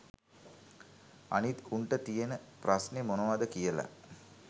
අනිත් උන්ට තියෙන ප්‍රස්න මොනවද කියල